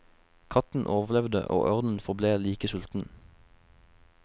Katten overlevde, og ørnen forble like sulten.